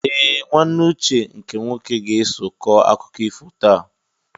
Ee! Nwanne Uche nke nwoke ga-eso kọọ akụkọ ifo taa.